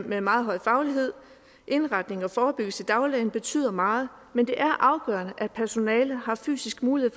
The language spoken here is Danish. med meget høj faglighed indretning og forebyggelse i dagligdagen betyder meget men det er afgørende at personalet har fysisk mulighed